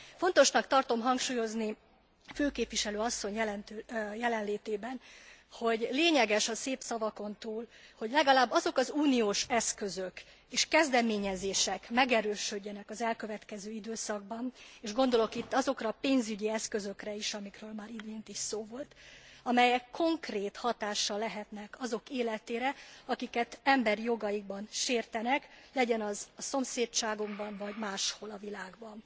Fontosnak tartom hangsúlyozni főképviselő asszony jelenlétében, hogy lényeges a szép szavakon túl, hogy legalább azok az uniós eszközök és kezdeményezések megerősödjenek az elkövetkező időszakban és gondolok itt azokra a pénzügyi eszközökre is amikről már az imént is szó volt, amelyek konkrét hatással lehetnek azok életére, akiket emberi jogaikban sértenek, legyen az a szomszédságunkban vagy máshol a világban.